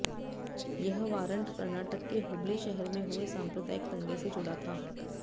यह वारंट कर्नाटक के हुबली शहर में हुए सांप्रदायिक दंगे से जुड़ा था